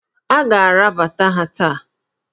A ga-arabata ha taa!